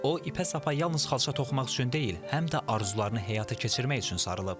O, ipə-sapa yalnız xalça toxumaq üçün deyil, həm də arzularını həyata keçirmək üçün sarılıb.